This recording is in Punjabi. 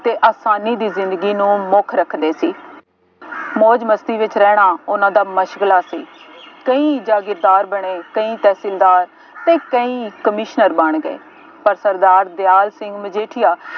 ਅਤੇ ਆਸਾਨੀ ਦੀ ਜ਼ਿੰਦਗੀ ਨੂੰ ਮੁੱਖ ਰੱਖਦੇ ਸੀ। ਮੌਜ ਮਸਤੀ ਵਿੱਚ ਰਹਿਣਾ ਉਹਨਾ ਦਾ ਸੀ। ਕਈ ਜਾਗੀਰਦਾਰ ਬਣੇ, ਕਈ ਤਹਿਸੀਲਦਾਰ ਅਤੇ ਕਈ ਕਮਿਸ਼ਨਰ ਬਣ ਗਏ, ਪਰ ਸਰਦਾਰ ਦਿਆਲ ਸਿੰਘ ਮਜੀਠੀਆ